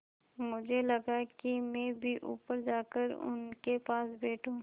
मुझे लगा कि मैं भी ऊपर जाकर उनके पास बैठूँ